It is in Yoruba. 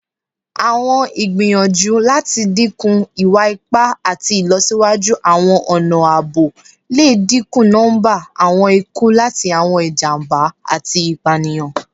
Awọn igbiyanju lati dinku iwa-ipa ati ilọsiwaju awọn ọna aabo le dinku nọmba awọn iku lati awọn ijamba ati ipaniyan